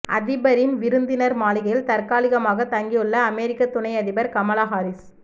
அதிபரின் விருந்தினா் மாளிகையில் தற்காலிகமாக தங்கியுள்ள அமெரிக்க துணை அதிபா் கமலா ஹாரிஸ்